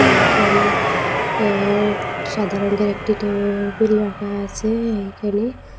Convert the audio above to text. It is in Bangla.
এইখানে এর সাদা রঙের একটি টেবিল রাখা আছে এইখানে।